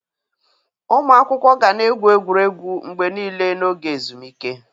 Ụmụ akwụkwọ ga na-egwu egwuregwu mgbe niile n'oge ezumike